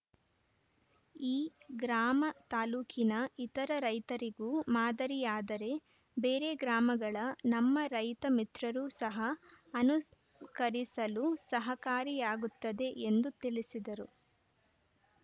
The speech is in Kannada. ಈ ಗ್ರಾಮ ತಾಲೂಕಿನ ಇತರ ರೈತರಿಗೂ ಮಾದರಿಯಾದರೆ ಬೇರೆ ಗ್ರಾಮಗಳ ನಮ್ಮ ರೈತ ಮಿತ್ರರೂ ಸಹಾ ಅನುಕರಿಸಲು ಸಹಕಾರಿಯಾಗುತ್ತದೆ ಎಂದು ತಿಳಿಸಿದರು